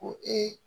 Ko ee